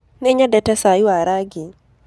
Nĩnyendete caĩ wa rangĩ.